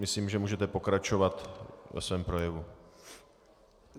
Myslím, že můžete pokračovat ve svém projevu.